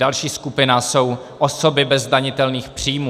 Další skupina jsou osoby bez zdanitelných příjmů.